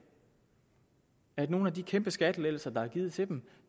nogle af de kæmpe skattelettelser der er givet til dem